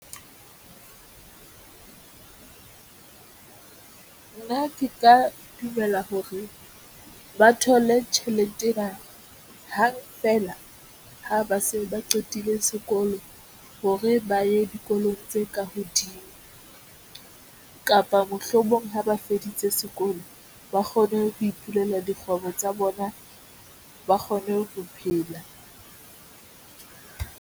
Nna ke ka dumela hore ba thole tjhelete ho hang feela ha ba se ba qetile sekolo hore ba ye dikolong tse ka hodimo, kapa mohlomong ha ba feditse sekolo, ba kgone ho ipulela dikgwebo tsa bona, ba kgone ho phela.